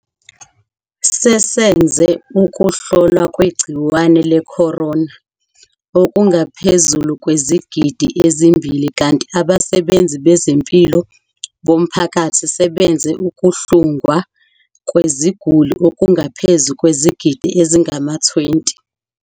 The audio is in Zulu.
Sesenze ukuhlolwa kwegciwane le-corona okungaphezu kwezigidi ezimbili kanti abasebenzi bezempilo bomphakathi sebenze ukuhlungwa kweziguli okungaphezu kwezigidi ezingama-20.